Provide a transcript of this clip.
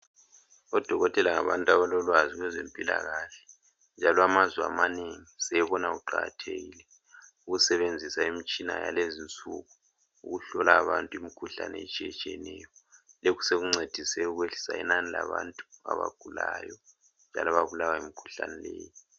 Odokotela ngabantu abalolwazi kwezempilakahle njalo amazwe amanengi sebona kuqakathekile ukusebenzisa imitshina yalezi insuku ukuhlola abantu imikhuhlane etshiyetshiyeneyo. Lokhu sokuncedise ukwehlisa inani labantu abagulayo njalo ababulawa yimikhuhlane leyi.